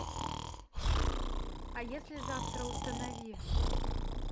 а если завтра установи